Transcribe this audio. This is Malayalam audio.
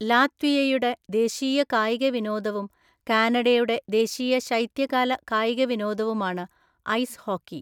ലാത്വിയയുടെ ദേശീയ കായിക വിനോദവും കാനഡയുടെ ദേശീയ ശൈത്യകാല കായിക വിനോദവുമാണ് ഐസ് ഹോക്കി.